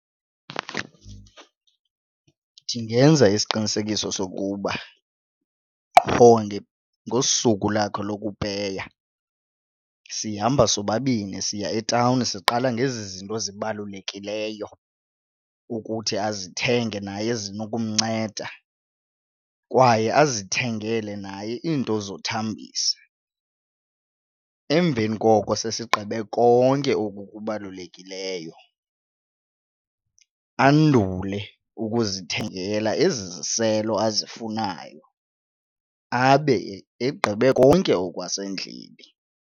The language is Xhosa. Ndingenza isiqinisekiso sokuba qho ngosuku lakhe lokupeya sihamba sobabini siya etawuni siqala ngezi zinto zibalulekileyo ukuthi azithenge naye ezinokumnceda kwaye azithengele naye iinto zothambisa. Emveni koko sesigqibe konke oku kubalulekileyo andule ukuzithengela ezi ziziselo azifunayo abe egqibe konke okwasendlini.